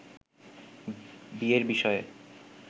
বিয়ের বিষয়ে